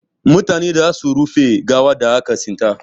Mutane za su rufe gawan da aka tsinta.